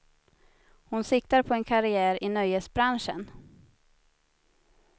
Hon siktar på en karriär i nöjesbranschen.